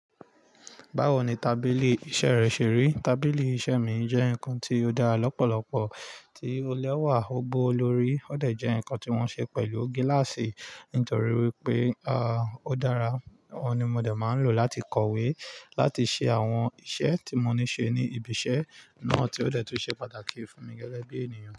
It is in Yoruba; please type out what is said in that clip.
Báwo ni tábìlì iṣẹ́ rẹ ṣe rí? Tábìlì iṣẹ́ mi jẹ́ nǹkan tí ó dára lọ́pọ̀lọpọ̀, tí ó lẹ́wà, gbó lórí. Ó dẹ̀ jẹ́ nǹkan tí wọ́n ṣe pẹ̀lú gíláàsì nítorí wípé, ó dára. Òhun ni mo dẹ̀ máa ń lò láti kọ̀wé, láti ṣe àwọn iṣẹ́ tí mo ní ṣe ní ibi iṣẹ́ náà, tí ó dẹ̀ tu ṣe pàtàkì fún mi gẹ́gẹ́ bí ènìyàn.